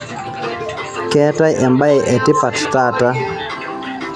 keetae embae e tipat taata